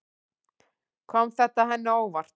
Kom þetta henni á óvart?